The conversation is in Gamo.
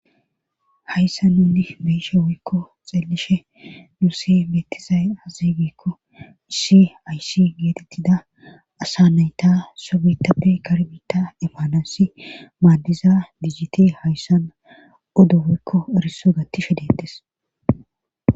hayssa nunni me'ishe woikko xeellishe nuuse metizay azigikko issi aysi geetettida asa nayta sobetappe karbita emmanasi maaddiza dijiti hayssan oddo wiikko eriso gattishe deettes